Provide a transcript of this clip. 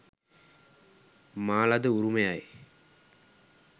මා ලද උරුමයයි.